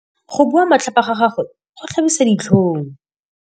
Go bua matlhapa ga gagwe go tlhabisa ditlhong.